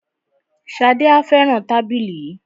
Ṣadé má a fẹràn tábìlì yìí.